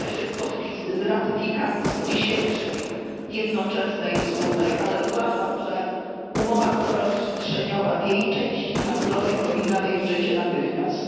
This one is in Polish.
Cieszę się z ratyfikacji dzisiejszej, jednoczesnej i wspólnej, ale uważam, że umowa stowarzyszeniowa w jej części handlowej powinna wejść w życie natychmiast.